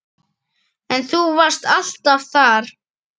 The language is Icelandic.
En þú varst alltaf þar.